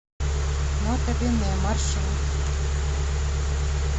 нота бене маршрут